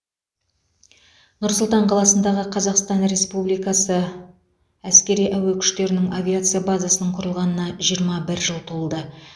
нұр сұлтан қаласындағы қазақстан республикасы әскери әуе күштерінің авиация базасының құрылғанына жиырма бір жыл толды